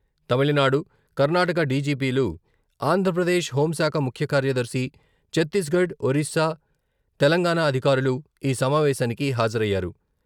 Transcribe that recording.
తమిళనాడు, కర్నాటక డిజిపిలు, ఆంధ్రప్రదేశ్ హోంశాఖ ముఖ్య కార్యదర్శి, ఛత్తీస్గఢ్, ఒరిస్సా, తెలంగాణ అధికారులు ఈ సమావేశానికి హాజరయ్యారు.